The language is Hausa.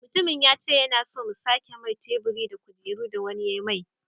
Mutumin yace yana so mu sake mai teburi da kujeru. da wani ya mai